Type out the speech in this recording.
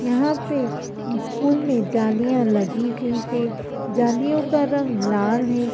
यहां पे स्कूल में जालियां लगी हुई हैं। जालियों का रंग लाल है।